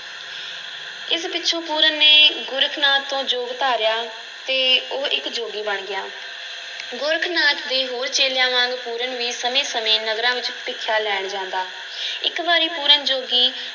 ਇਸ ਪਿੱਛੋਂ ਪੂਰਨ ਨੇ ਗੋਰਖ ਨਾਥ ਤੋਂ ਜੋਗ ਧਾਰਿਆ ਤੇ ਉਹ ਇੱਕ ਜੋਗੀ ਬਣ ਗਿਆ ਗੋਰਖ ਨਾਥ ਦੇ ਹੋਰ ਚੇਲਿਆਂ ਵਾਂਗ ਪੂਰਨ ਵੀ ਸਮੇਂ-ਸਮੇਂ ਨਗਰਾਂ ਵਿੱਚ ਭੀਖਿਆ ਲੈਣ ਜਾਂਦਾ ਇੱਕ ਵਾਰੀ ਪੂਰਨ ਜੋਗੀ